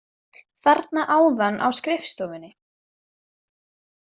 Þarna áðan á skrifstofunni.